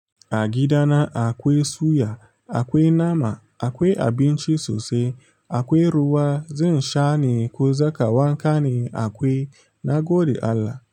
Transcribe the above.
A gida na akwe suya, akwe nama, akwe abinci sosai, akwe ruwa, zan sha ne ko za ka wanka ne akwe, na gode Allah,